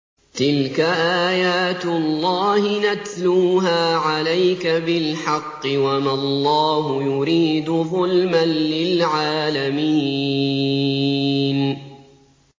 تِلْكَ آيَاتُ اللَّهِ نَتْلُوهَا عَلَيْكَ بِالْحَقِّ ۗ وَمَا اللَّهُ يُرِيدُ ظُلْمًا لِّلْعَالَمِينَ